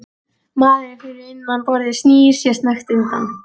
Maðurinn fyrir innan borðið snýr sér snöggt undan.